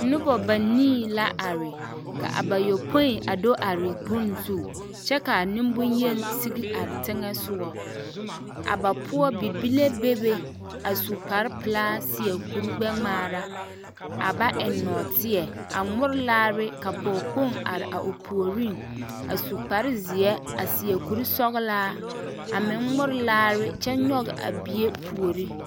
Nobɔ banii la are ka a bayɔpoi a do are bone zu kyɛ ka nemboyeni sigi are teŋɛsogɔ a ba poɔ bibile bebe a su kpare pelaa seɛ kuri gbɛ-ŋmaara a ba eŋ nɔɔteɛ a ŋmore laare ka pɔgekpoŋ are a o puoriŋ a su kpare zeɛ a seɛ kuri sɔgelaa a meŋ ŋmore laare kyɛ nyɔge a bie puori.